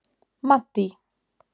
Maddý